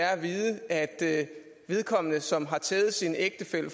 er at vide at vedkommende som har tævet sin ægtefælle